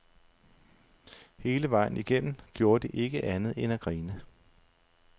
Hele vejen igennem gjorde de ikke andet end at grine.